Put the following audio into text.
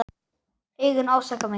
Augun ásaka mig.